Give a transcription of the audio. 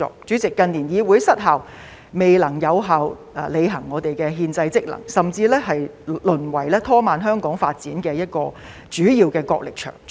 主席，近年議會失效，未能有效履行其憲制職能，甚至淪為拖慢香港發展的一個主要角力場。